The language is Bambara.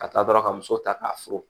Ka taa dɔrɔn ka muso ta k'a furu